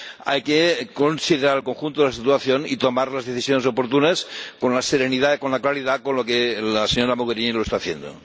Hay que considerar el conjunto de la situación y tomar las decisiones oportunas con la serenidad, con la claridad, con la que la señora Mogherini lo está haciendo.